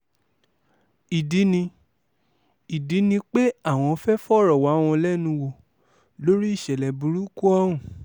ìdí ni ìdí ni pé àwọn fẹ́ẹ́ fọ̀rọ̀ wá wọn lẹ́nu wò lórí ìṣẹ̀lẹ̀ burúkú ọ̀hún